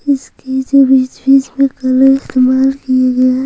इसकी जो बीच-बीच में कमाल की गई--